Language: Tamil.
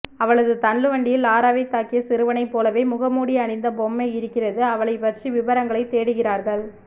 அவளது தள்ளுவண்டியில் லாராவை தாக்கிய சிறுவனை போலவே முகமூடி அணிந்த பொம்மை இருக்கிறது அவளை பற்றி விபரங்களை தேடுகிறார்கள்